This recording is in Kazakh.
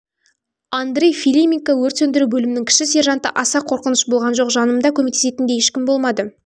андрей филименко өрт сөндіру бөлімінің кіші сержанты аса қорқыныш болған жоқ жанымда көмектесетін де ешкім болмады